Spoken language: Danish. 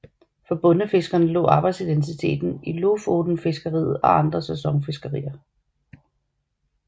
For bondefiskerne lå arbejdsidentiteten i lofotenfiskeriet og andre sæsonfiskerier